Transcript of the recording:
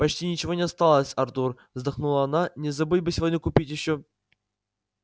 почти ничего не осталось артур вздохнула она не забыть бы сегодня купить ещё